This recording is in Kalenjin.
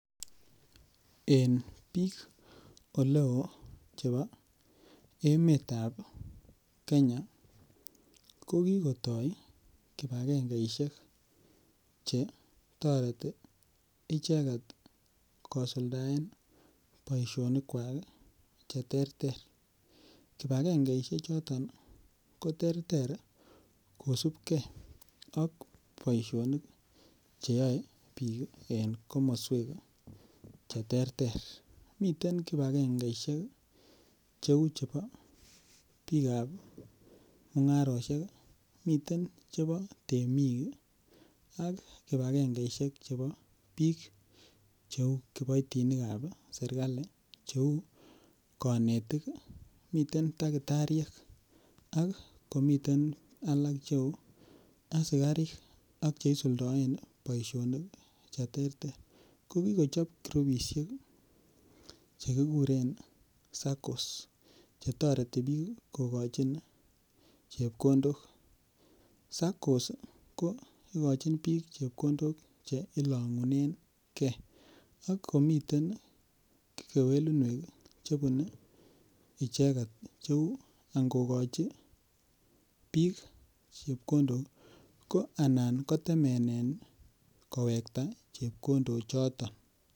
En sabetab bik oleo en Kenya kokikotaa kibakengeisiek chebo boisionik cheisuldaen icheket. Miten kibakengeisiek anan katuyosiek cheteter. Kosubke ak bik ak boisionik cheterter cheyae. Miten kibakengeisiek chebo temik ih miten chebo mung'arosiek ih akomiten chebo kiboitinik chebo serkali cheuu kanetik ih mwalimuek , asikarik alak kora cheuu choton anan kokandoik ko kikochob kibakengeisiek cheki kuren saccos kotareti noton bik ko besendechin bik chebkondok chetaretenge en kokuatinuek kuak. Kikotoret saccos bik oleo kokachi chebkondok chebo taretet ako kit nekorom komawekta bik olan kabesen